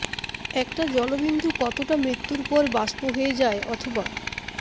একটা জলবিন্দু কতোটা মৃত্যুর পর বাস্প হয়ে যায় অথবা